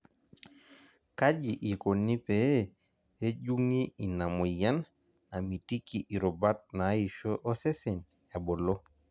kaji ikoni pee ejung'i ina moyian namitiki irubat naaisho osesen ebulu?